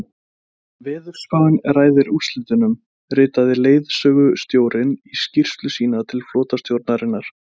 Veðurspáin ræður úrslitum, ritaði leiðangursstjórinn í skýrslu sína til flotastjórnarinnar.